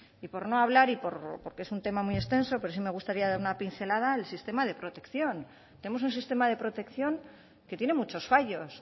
y por no hablar y porque es un tema muy extenso pero sí me gustaría dar una pincelada al sistema de protección tenemos un sistema de protección que tiene muchos fallos